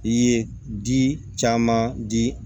I ye di caman di